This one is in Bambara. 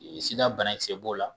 Sida bana kisɛ b'o la